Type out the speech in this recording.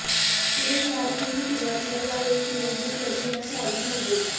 सुरेश लाड हेही सुरूवातीला यावेळी निवडणूक लढविण्यास राजी नव्हते